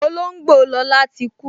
Olóngbò Lọla tí kú